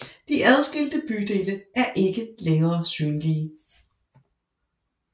De adskilte bydele er ikke længere synlige